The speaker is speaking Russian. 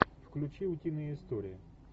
включи утиные истории